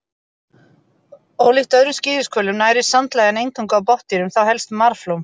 Ólíkt öðrum skíðishvölum nærist sandlægjan eingöngu á botndýrum, þá helst marflóm.